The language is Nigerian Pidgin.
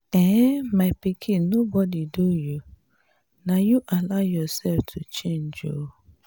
um my pikin nobody do you. na you allow yourself to change um